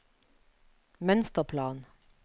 mønsterplan